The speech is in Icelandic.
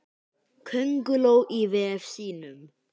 Könguló í vef sínum.